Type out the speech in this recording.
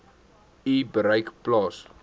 u bereik plaas